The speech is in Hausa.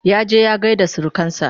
ya je ya gaida surukansa